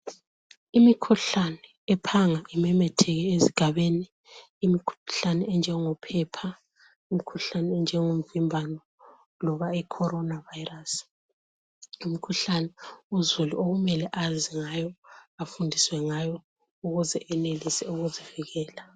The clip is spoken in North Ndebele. Imikhuhlane ephanga imemetheke ezigabeni. Imikhuhlane enjengophepha, imikhuhlane enjengomvimbano loba icorona virus yimikhuhlane uzulu okumele azi ngayo, afundiswe ngayo ukuze enelise ukuzivikela.